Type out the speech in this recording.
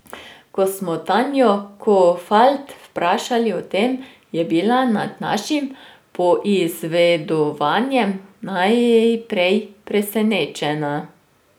Ko smo Tanijo Kofalt vprašali o tem, je bila nad našim poizvedovanjem najprej presenečena.